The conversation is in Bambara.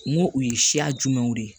N ko u ye siya jumɛnw de ye